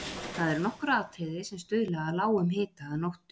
Það eru nokkur atriði sem stuðla að lágum hita að nóttu.